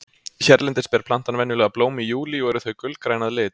hérlendis ber plantan venjulega blóm í júlí og eru þau gulgræn að lit